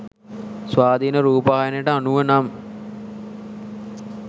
ස්වාධීන රූපවාහිනියට අනුව නම්